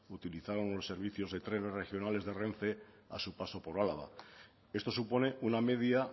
utilizaron los servicios de trenes regionales de renfe a su paso por álava esto supone una media